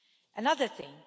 Another thing.